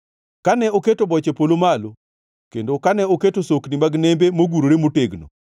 kane oketo boche polo malo, kendo kane oketo sokni mag nembe mogurore motegno,